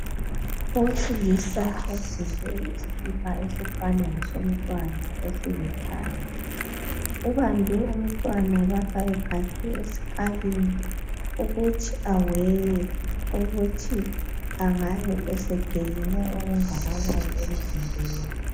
Owesilisa ogqoke isikipa esifana lesomntwana esilithanga ubambe umntwana lapha esikalini ukuthi aweye ukuthi angabe esegeyine okungakanani emzimbeni